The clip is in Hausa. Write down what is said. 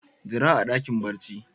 Jira a dakin barci.